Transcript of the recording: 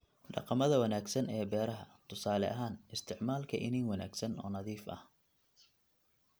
dhaqamada wanaagsan ee beeraha, tusaale ahaan isticmaalka iniin wanaagsan oo nadiif ah (la'aan